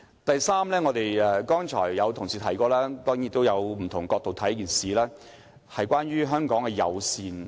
第三，這點是剛才有同事提及，也可以從不同角度看待，便是關於香港的友善。